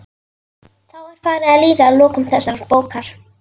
Þá er farið að líða að lokum þessarar bókar.